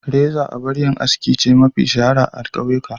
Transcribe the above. Reza abar yin aski ce mafi shahara a kauyuka.